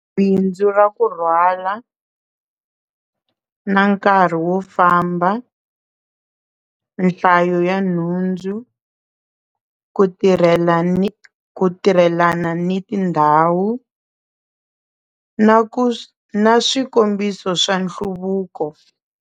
Bindzu ra ku rhwala na nkarhi wo famba nhlayo ya nhundzu ku tirhela ku tirhelana ni tindhawu na ku na swikombiso swa nhluvuko.